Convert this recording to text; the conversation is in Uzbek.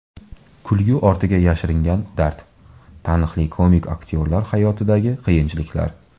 Kulgi ortiga yashirilgan dard: Taniqli komik aktyorlar hayotidagi qiyinchiliklar.